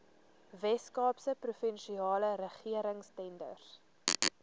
weskaapse provinsiale regeringstenders